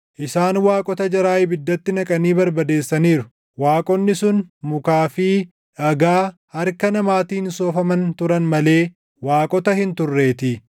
Isaan waaqota jaraa ibiddatti naqanii barbadeessaniiru; waaqonni sun mukaa fi dhagaa harka namaatiin soofaman turan malee waaqota hin turreetii.